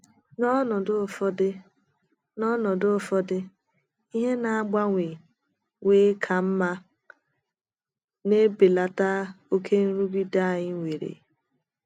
N’ọnọdụ ụfọdụ N’ọnọdụ ụfọdụ, ihe na - agbanwe wee ka mma, na - ebelata oké nrụgide anyi were..